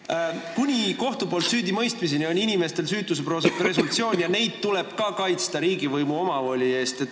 Jah, kuni kohtu poolt süüdimõistmiseni kehtib süütuse presumptsioon ja inimesi tuleb kaitsta ka riigivõimu omavoli eest.